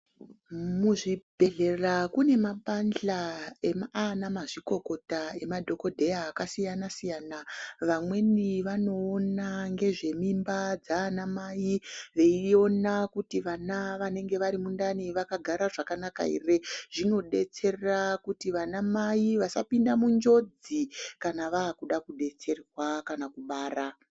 Muzvibhedhlera kune mapandhla aana mazvikokota emadhokodheya akasiyana siyana vamweni vanoona ngezvemimba dzaana mai veiona kuti vana vanenge vari mundani vakagara zvakanaka here zvinodetsera kuti vanamai vasapinda munjodzi kana vakuda kudetserwa kana kubara